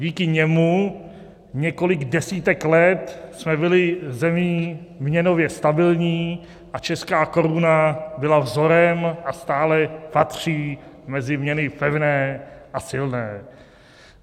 Díky němu několik desítek let jsme byli zemí měnově stabilní a česká koruna byla vzorem a stále patří mezi měny pevné a silné.